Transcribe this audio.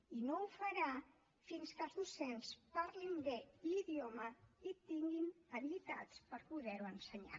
i no ho farà fins que els docents parlin bé l’idioma i tinguin habilitats per poder lo ensenyar